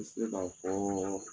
I ti se ka fɔ